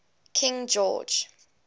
king george